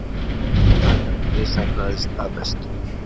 Myndatakan misheppnaðist að mestu.